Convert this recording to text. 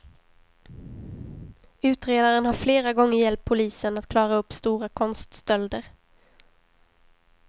Utredaren har flera gånger hjälpt polisen att klara upp stora konststölder.